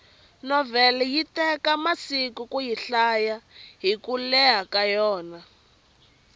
novhele yi teka masiku kuyi hlaya hiku leha ka yona